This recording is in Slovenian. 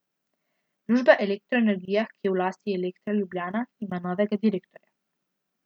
Družba Elektro Energija, ki je v lasti Elektra Ljubljana, ima novega direktorja.